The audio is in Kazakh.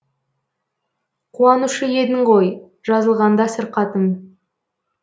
қуанушы едің ғой жазылғанда сырқатым